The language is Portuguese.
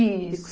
Isso.